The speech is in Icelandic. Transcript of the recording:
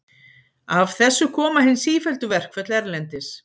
Af þessu koma hin sífelldu verkföll erlendis.